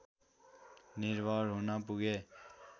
निर्भर हुन पुगे